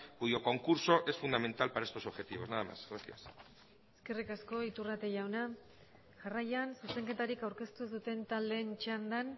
cuyo concurso es fundamental para estos objetivos nada más gracias eskerrik asko iturrate jauna jarraian zuzenketarik aurkeztu ez duten taldeen txandan